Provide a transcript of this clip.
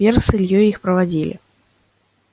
вера с ильёй их проводили